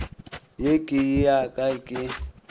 ye ke ya ka ke